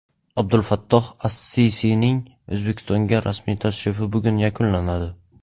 Abdulfattoh as-Sisining O‘zbekistonga rasmiy tashrifi bugun yakunlanadi.